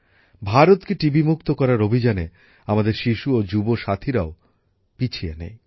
ভারতকে টিবি মুক্ত করার অভিযানে আমাদের শিশু ও যুব সাথীরাও পিছিয়ে নেই